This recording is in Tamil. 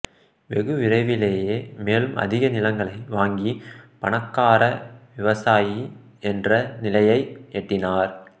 வெகு விரைவிலேயே மேலும் அதிக நிலங்களை வாங்கி பணக்கார விவசாயி என்ற நிலையை எட்டினார்